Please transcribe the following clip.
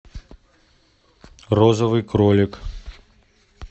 розовый кролик